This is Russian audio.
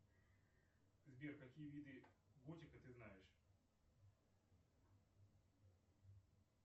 сбер какие виды готики ты знаешь